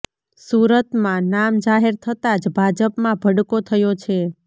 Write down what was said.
સુરતમાં નામ જાહેર થતા જ ભાજપમાં ભડકો થયો છે